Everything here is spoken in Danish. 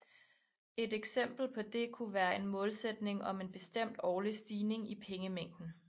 Et eksempel på det kunne være en målsætning om en bestemt årlig stigning i pengemængden